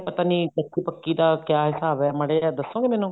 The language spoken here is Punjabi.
ਪਤਾ ਨੀ ਕੱਚੀ ਪੱਕੀ ਦਾ ਕਿਆ ਹਿਸਾਬ ਹੈ ਮਾੜਾ ਜਾ ਦੱਸੋਗੇ ਮੈਨੂੰ